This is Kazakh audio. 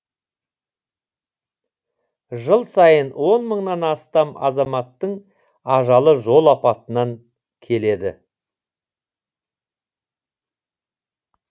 жыл сайын он мыңнан астам азаматтың ажалы жол апатынан келеді